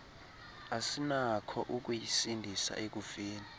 asinakho ukuyisindisa ekufeni